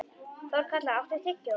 Þorkatla, áttu tyggjó?